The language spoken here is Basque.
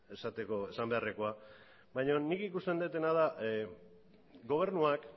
esateko esan beharrekoa baino nik ikusten dudana da gobernuak